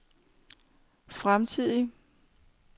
fremtidige